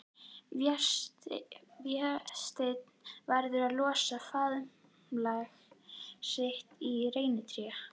Vésteinn verður að losa faðmlag sitt við reynitré.